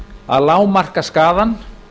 að lágmarka skaðann